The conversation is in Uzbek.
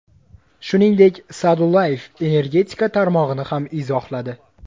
Shuningdek, Sa’dullayev energetika tarmog‘ini ham izohladi.